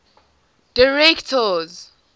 directors